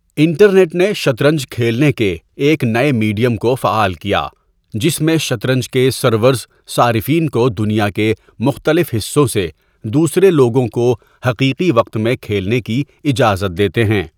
Internet نے شطرنج کھیلنے کے ایک نئے میڈیم کو فعال کیا، جس میں شطرنج کے سرورز صارفین کو دنیا کے مختلف حصوں سے دوسرے لوگوں کو حقیقی وقت میں کھیلنے کی اجازت دیتے ہیں۔